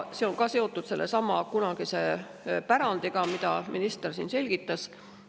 See on ka seotud sellesama pärandiga, millest minister siin rääkis.